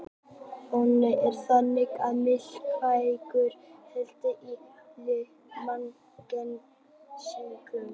Ónæmiskerfið er þannig mikilvægur hlekkur í vörnum líkamans gegn sýklum.